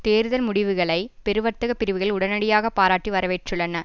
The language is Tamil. தேர்தல் முடிவுகளை பெரு வர்த்தக பிரிவுகள் உடனடியாக பாராட்டி வரவேற்றுள்ளன